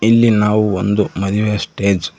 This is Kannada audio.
ಇಲ್ಲಿ ನಾವು ಒಂದು ಮದುವೆಯ ಸ್ಟೇಜ್ --